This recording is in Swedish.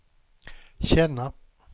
känna